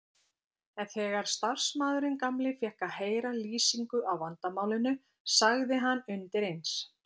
En þegar starfsmaðurinn gamli fékk að heyra lýsingu á vandamálinu sagði hann undir eins